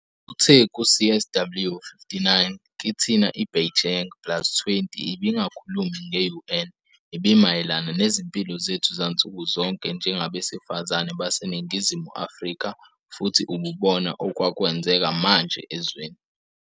Uthe ku-CSW59, "Kithina iBeijing plus20 ibingakhulumi nge-UN, ibimayelana nezimpilo zethu zansuku zonke njengabesifazane baseNingizimu Afrika futhi ububona okwakwenzeka manje ezweni.